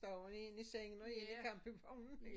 Der jo én i sengen og én i campingvognen